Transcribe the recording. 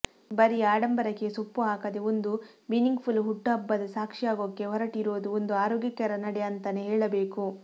ಬರೀ ಅಡಂಬರಕ್ಕೆ ಸೊಪ್ಪು ಹಾಕದೇ ಒಂದು ಮಿನಿಂಗ್ಫುಲ್ ಹುಟ್ಟುಹಬ್ಬದ ಸಾಕ್ಷಿಯಾಗೋಕೆ ಹೊರಟಿರೋದು ಒಂದು ಆರೋಗ್ಯಕರ ನಡೆ ಅಂತಾನೇ ಹೇಳಬೇಕು